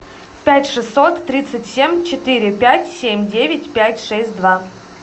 пять шестьсот тридцать семь четыре пять семь девять пять шесть два